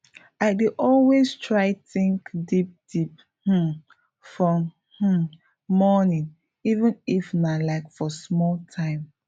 i dey always try think deep deep um for um morning even if nah like for small time